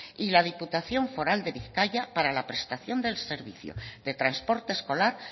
y la diputación foral de bizkaia para prestación del servicio de transporte escolar